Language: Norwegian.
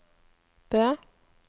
Bø